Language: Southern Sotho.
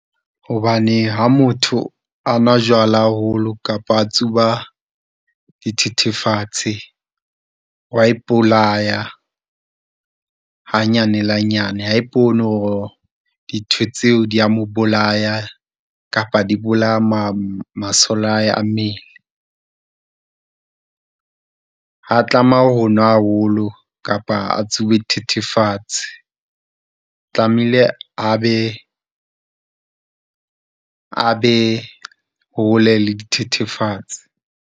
Hobane ha motho a nwa jwala haholo kapa a tsuba dithethefatsi, o wa ipolaya hanyane le hanyane ha a ipone hore dintho tseo di ya mo bolaya, kapa di bolaya , masole a hae a mmele. Ha a tlameha ho nwa haholo, kapa a tsube dithethefatsi, tlamehile a be a be hole le dithethefatsi.